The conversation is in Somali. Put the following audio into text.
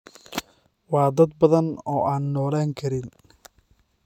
Waa dad badan oo aan noolaan karin.